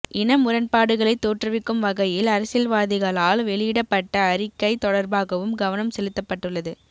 இன முரண்பாடுகளை தோற்றுவிக்கும் வகையில் அரசியல்வாதிகளால் வெளியிடப்பட்ட அறிக்கை தொடர்பாகவும் கவனம் செலுத்தப்பட்டுள்ளது